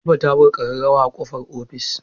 Latifa ta buga ƙararrawa a ƙofar ofis.